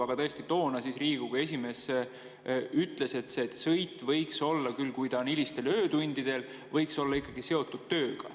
Aga tõesti toona Riigikogu esimees ütles, et see sõit võiks olla küll, kui see on hilistel öötundidel, ikkagi seotud tööga.